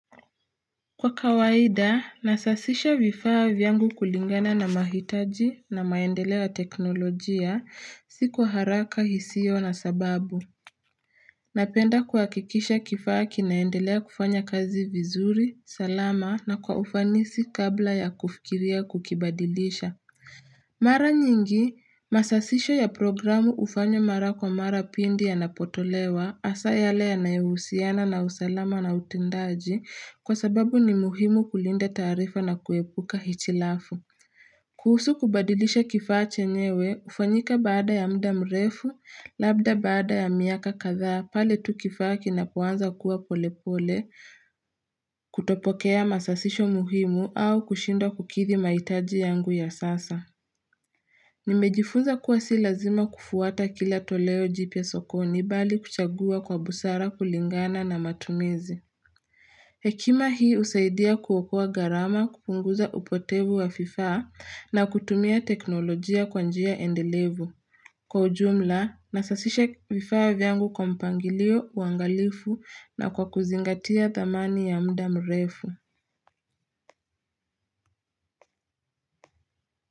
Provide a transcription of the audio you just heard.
Kwa kawaida, nasasisha vifaa vyangu kulingana na mahitaji na maendeleo ya teknolojia, si kwa haraka, hisio na sababu. Napenda kuhakikisha kifaa kinaendelea kufanya kazi vizuri, salama na kwa ufanisi kabla ya kufikiria kukibadilisha. Mara nyingi, masasisho ya programu hufanywa mara kwa mara pindi yanapotolewa, asa yale yanayehusiana na usalama na utendaji kwa sababu ni muhimu kulinda taarifa na kuepuka hitilafu. Kuhusu kubadilisha kifacha chenyewe, ufanyika baada ya mda mrefu, labda baada ya miaka kadhaa, pale tu kifaa kinapoanza kuwa polepole, kutopokea masasisho muhimu au kushindwa kukidhi mahitaji yangu ya sasa. Nimejifuza kuwa si lazima kufuata kila toleo jipya sokoni bali kuchagua kwa busara kulingana na matumizi. Hekima hii husaidia kuokoa gharama kupunguza upotevu wa fifaa na kutumia teknolojia kwa njia endelevu. Kwa ujumla, nasasisha vifaa ifa vyangu kwa mpangilio, uangalifu na kwa kuzingatia thamani ya mda mrefu.